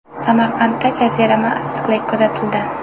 Samarqandda jazirama issiqlik kuzatildi.